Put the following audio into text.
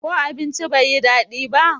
ko abincin bai yi dadi ba?